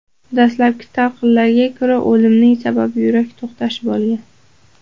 Dastlabki talqinlarga ko‘ra, o‘limning sababi yurak to‘xtashi bo‘lgan.